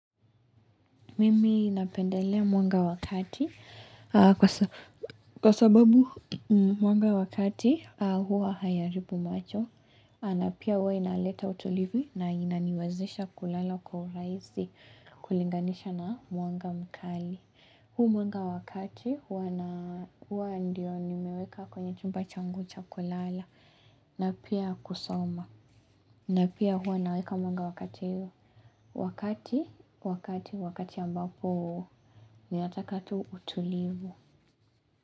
Mimi napendelea mwanga wa kati aaaaaaaa kwasa kwa sababu mwanga wakati hua hayaribu macho. Na pia huwa inaleta utulivu na inaniwezesha kulala kwa urahisi kulinganisha na mwanga mkali. Huu mwanga wa kati hua naa huwa ndio nimeweka kwenye chumba changu cha kulala na pia kusoma. Na pia huwa naweka mwanga wakati, wakati wakati, wakati ambapo ni nataka tu utulivu.